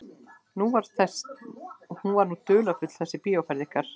Hún var nú dularfull þessi bíóferð ykkar.